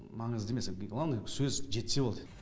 маңызды емес главный сөз жетсе болды